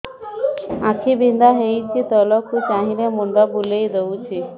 ଆଖି ବିନ୍ଧା ହଉଚି ତଳକୁ ଚାହିଁଲେ ମୁଣ୍ଡ ବୁଲେଇ ଦଉଛି